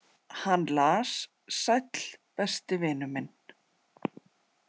Hann las: Sæll, besti vinur minn.